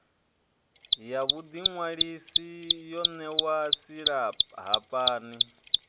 ya vhuḓiṅwalisi yo ṋewaho silahapani